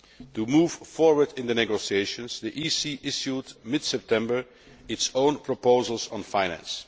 To move forward in the negotiations, the EC issued in mid September its own proposals on finance.